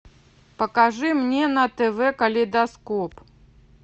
покажи мне на тв калейдоскоп